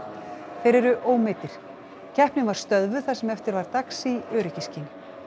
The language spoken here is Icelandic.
þeir eru ómeiddir keppnin var stöðvuð það sem eftir var dags í öryggisskyni